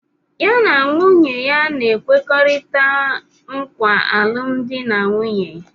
Ya na nwunye ya a na-ekwekọrịta nkwa alụmdi na nwunye.